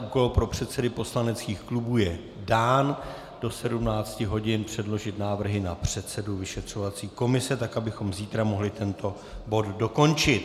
Úkol pro předsedy poslaneckých klubů je dán - do 17 hodin předložit návrhy na předsedu vyšetřovací komise, tak abychom zítra mohli tento bod dokončit.